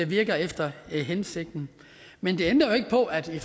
virker efter hensigten men det ændrer jo ikke på at vi